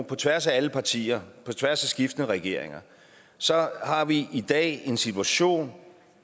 på tværs af alle partier på tværs af skiftende regeringer så har vi i dag en situation